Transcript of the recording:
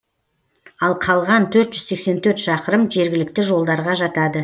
ал қалған төрт жүз сексен төрт шақырым жергілікті жолдарға жатады